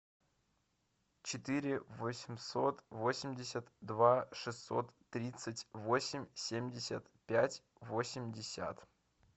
четыре восемьсот восемьдесят два шестьсот тридцать восемь семьдесят пять восемьдесят